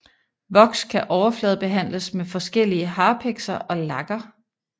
Voks kan overfladebehandles med forskellige harpikser og lakker